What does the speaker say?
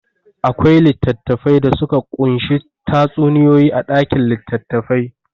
Akwai littattafai da suka ƙunshi tatsuniyoyi a ɗakin litattafai.